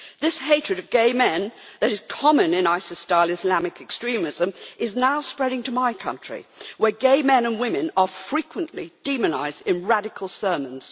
This hatred of gay men that is common in ISIS style Islamic extremism is now spreading to my country, where gay men and women are frequently demonised in radical sermons.